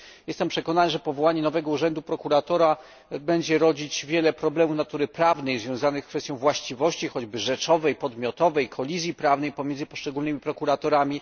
Jestem przekonany, że powołanie nowego urzędu prokuratora będzie niosło ze sobą wiele problemów natury prawnej związanych z kwestią właściwości, choćby rzeczowej, podmiotowej kolizji prawnej pomiędzy poszczególnymi prokuratorami.